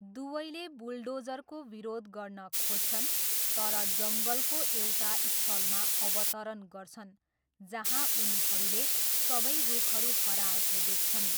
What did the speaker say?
दुवैले बुलडोजरको विरोध गर्न खोज्छन् तर जङ्गलको एउटा स्थलमा अवतरण गर्छन् जहाँ उनीहरूले सबै रुखहरू हराएको देख्छन्।